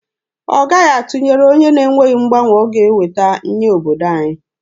Ọ gaghị atụnyere onye na-enweghị mgbanwe ọ ga-eweta nye obodo anyị.